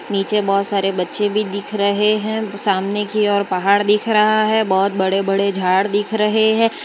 नीचे बहुत सारे बच्चे भी दिख रहे हैं सामने की ओर पहाड़ दिख रहा है बहुत बड़े बड़े झाड़ दिख रहे हैं।